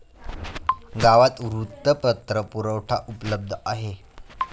गावात वृत्तपत्र पुरवठा उपलब्ध आहे.